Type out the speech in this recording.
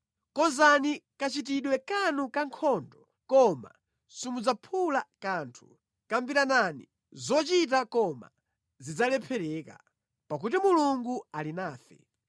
Konzani kachitidwe kanu kankhondo, koma simudzaphula kanthu, kambiranani zochita, koma zidzalephereka, pakuti Mulungu ali nafe.